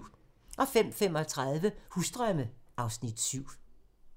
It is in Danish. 05:35: Husdrømme (Afs. 7)